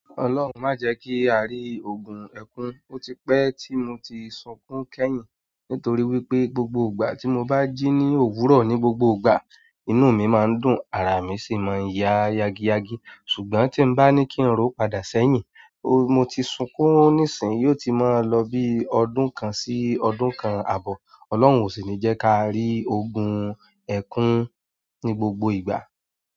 Ọlọ́hun má jẹ kí a rí ogun ẹkún, ó ti pẹ tí mo ti sunkún kẹ́yìn nítorí wípé gbogbo ìgbà tí mo bá jí ní òwúrọ̀ ní gbogbo ìgbà inú mi má ń dùn, ara mi sì má ń ya yagi yagi ṣùgbọ́n tí n bá ní kí n rò padà sẹ́yìn mo ti sunkún nísìnyí ó ti má lọ bí ọdún kan sí ọdún kan àbọ̀, ọlọ́hun ó sì ni jẹ́ ká rí ogun ẹkún ní gbogbo ìgbà.